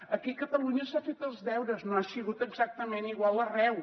aquí a catalunya s’han fet els deures no ha sigut exactament igual arreu